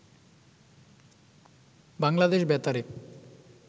বাংলাদেশ বেতারে